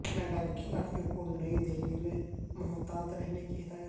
Canada کےکھلاڑیوں کو نئی دہلی میں محتاط رہنےکی ہدایت